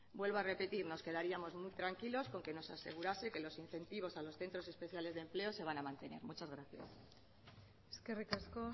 vuelvo a repetir que nos quedaríamos muy tranquilos con que nos asegurase que los incentivos a los centros especiales de empleo se van a mantener muchas gracias eskerrik asko